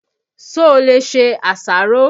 Ṣo lè ṣe àṣàrò?